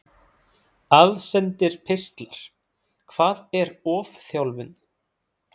Aðsendir pistlar Hvað er ofþjálfun?